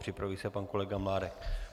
Připraví se pan kolega Mládek.